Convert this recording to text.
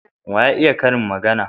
Wa ya iya karin magana?